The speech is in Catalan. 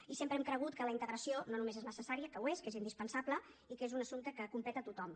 i sempre hem cregut que la integració no només és necessària que ho és que és indispensable i que és un assumpte que competeix tothom